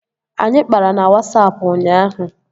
Anyị kpara na Wasapụ ụnyaahụ